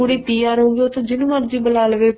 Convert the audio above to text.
ਕੁੜੀ PR ਹੋਗੀ ਤਾਂ ਜਿਹਨੂੰ ਮਰਜੀ ਬੂਲਾ ਲਵੇ